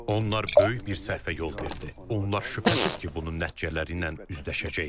Onlar böyük bir səhvə yol verdi, onlar şübhəsiz ki, bunun nəticələri ilə üzləşəcəklər.